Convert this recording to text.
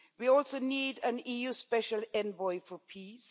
We also need an EU Special Envoy for Peace.